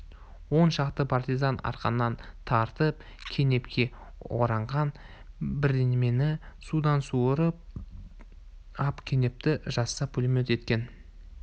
он шақты партизан арқаннан тартып кенепке ораған бірдемені судан суырып ап кенепті жазса пулемет екен